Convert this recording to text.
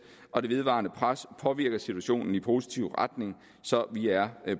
og det vedvarende pres påvirker situationen i positiv retning så vi er